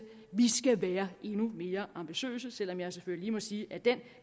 vi skal være endnu mere ambitiøse selv om jeg selvfølgelig må sige at den